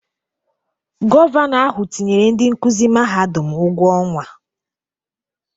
Gọvanọ ahụ tinyere ndị nkuzi mahadum ụgwọ ọnwa.